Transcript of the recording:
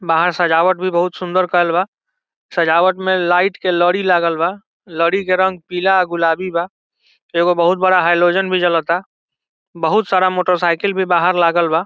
बाहर सजावट भी बहुत सुंदर कइल बा | सजावट में लाइट के लड़ी लागल बा | लड़ी के रंग पीला आ गुलाबी बा | एगो बहुत बड़ा हलोजन भी जलता | बहुत सारा मोटरसाइकिल भी बाहर लागल बा |